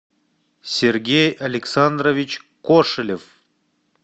сергей александрович кошелев